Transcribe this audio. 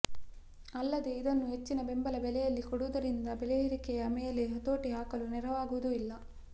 ಅಲ್ಲದೆ ಇದನ್ನು ಹೆಚ್ಚಿನ ಬೆಂಬಲ ಬೆಲೆಯಲ್ಲಿ ಕೊಡುವುದರಿಂದ ಬೆಲೆಯೇರಿಕೆಯ ಮೇಲೆ ಹತೋಟಿ ಹಾಕಲು ನೆರವಾಗುವುದೂ ಇಲ್ಲ